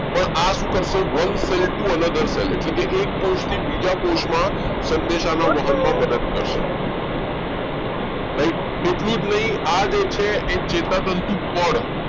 પણ આ શું કરશે એટલે કે એક કોષ થી બીજા કોષમાં સંદેશા ના વાહનમાં મદદ કરશે right એટલું જ નહીં આ જે છે એ ચેતાતંતુ પણ